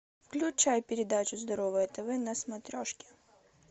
включай передачу здоровое тв на смотрешке